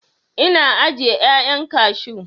Ina ajiye 'ya'yan kashu.